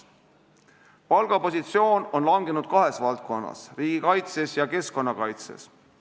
Palgapositsioon on langenud kahes valdkonnas: riigikaitses ja keskkonnakaitses.